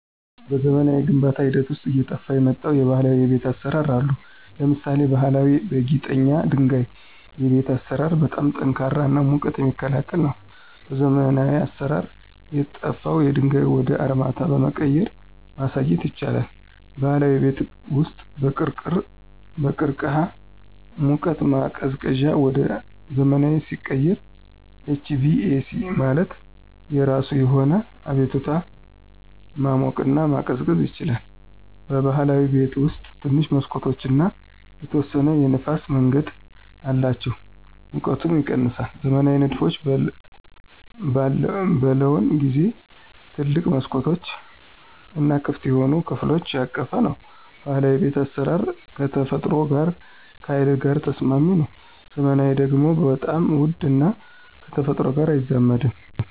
በዘመናዊ የግንባታ ሂደት ውስጥ አየጠፍ የመጣው የባህላዊ የቤት አሰራር አሉ። ለምሳሌ ባሀላዊ በጊጠኛ ድንጋይ የቤት አሰራር በጣም ጠንካራ እና ሙቀት የሚክላከል ነው። በዘመናዊ አሰራር የጠፍው ድንጋዩ ወደ አርማታ በመቀየራ ማሳየት ይቻላል። ባህላዊ የቤት ውስጥ በቅርቅህ ሙቀት ማቀዝቀዚያ ወደ ዘመናዊ ሲቀየር HVAC ማለት የራሱ የሆነ አቤቱታ ማሞቅና መቀዝቀዝ ይችላል። በብህላዊ ቤት ውስጥ ትንሽ መሠኮቶች እና የተወሰነ የንፍስ መንገድ አላቸው ሙቀቱም ይቀነሳል። ዘመናዊ ንድፎች በለውን ጊዜው ትልቅ መስኮቶች እና ክፍት የሆኑ ከፍሎች ያቀፈ ነው። ባህላዊ የቤት አስራር ከተፈጥሮ ጋር ከሀይል ጋር ተስማሚ ነው። ዘመናዊ ደግሞ በጣም ውድ እና ከተፈጥሮ ጋር አይዛመድም።